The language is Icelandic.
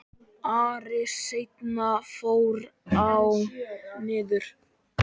Ári seinna fór ég norður.